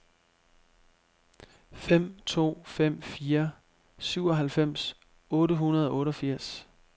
fem to fem fire syvoghalvfems otte hundrede og otteogfirs